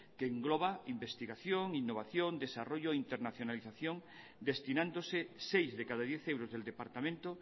que engloba investigación innovación desarrollo internacionalización destinándose seis de cada diez euros del departamento